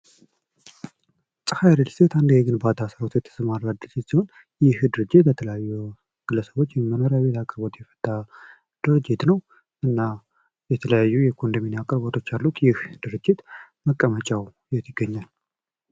ፀሀይ እሪል እስቴት የግባታ ስራ ለመስራት የተሰማራ ድርጅት ሲሆን ይህ ድርጅት ለተለያዩ ግለሰቦች ወይም መኖርያቤት አቅርቦት የፈታ ድርጅት ነው። እና የተለያዩ የኮንዶሚንዬም አቅርቦቶች አሉት ይህ ድርጅት መቀመጫው የት ይገኛል?